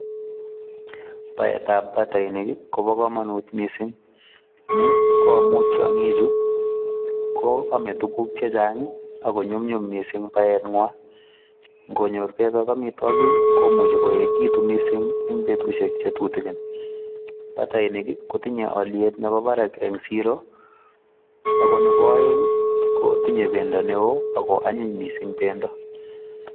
Baet ab batainik kobaa kamanuut Missing ni ko amuun tiangiik chuu ko ame tuguuk che chaang ii ako nyumnyum missing baet nywaany koot nyoor beeg ak amitwagiik komuchei koek che gituun missing en betusiek che tutukiin batainik kotinyei aliet nebo barak en siroo ako nebo aeng ko tinyei bendo ne oo ako anyiin missing eng bendo.